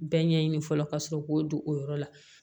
Bɛɛ ɲɛɲini fɔlɔ ka sɔrɔ k'o don o yɔrɔ la